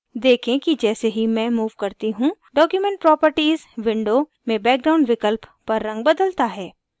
देखें कि जैसे ही मैं move करती हूँ document properties window में background विकल्प पर रंग बदलता है